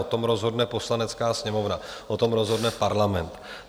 O tom rozhodne Poslanecká sněmovna, o tom rozhodne Parlament.